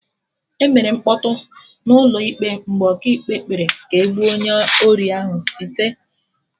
Emere mkpọtụ n'ụlọ ịkpe mgbe Ọkaikpe kpere ka e gbuo onye ori ahụ site